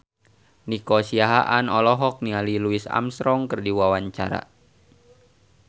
Nico Siahaan olohok ningali Louis Armstrong keur diwawancara